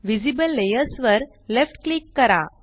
visible layers वर left click करा